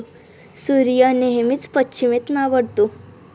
सूर्य नेहमीच पश्चिमेत मावळतो.